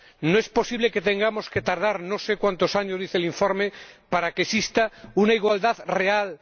No es posible que tengamos que esperar, no sé cuántos años dice el informe, para que exista una igualdad real.